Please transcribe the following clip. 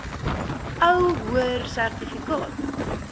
ou hoër sertifikaat